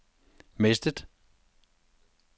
mistet